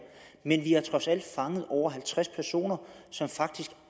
men vi har trods alt fanget over halvtreds personer som